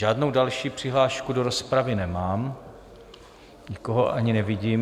Žádnou další přihlášku do rozpravy nemám, nikoho ani nevidím.